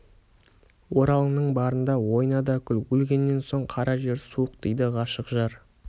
оралыңның барында ойна да күл өлгеннен соң қара жер суық дейді ғашық жар